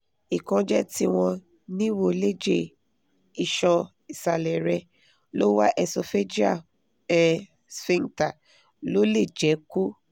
ìkánjẹ́ tí wọ́n níwò léjè ìṣan isalẹ rẹ̀ lower esophageal um sphincter ló lè jẹ́ kó